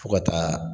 Fo ka taa